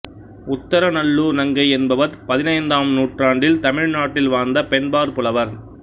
உத்தரநல்லூர் நங்கை என்பவர் பதினைந்தாம் நூற்றாண்டில் தமிழ் நாட்டில் வாழ்ந்த பெண்பாற் புலவர்